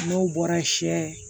N'o bɔra sɛ